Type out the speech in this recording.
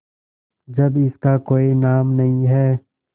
जब इसका कोई नाम नहीं है